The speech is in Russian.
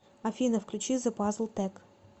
афина включи зе пазл тек